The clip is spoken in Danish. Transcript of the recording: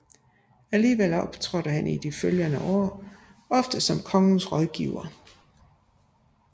Alligevel optrådte han i de følgende år ofte som kongens rådgiver